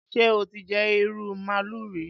Ṣé o ti jẹ ìrù màálù rí?